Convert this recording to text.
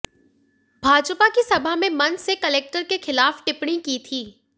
भाजपा की सभा में मंच से कलेक्टर के खिलाफ टिप्पणी की थी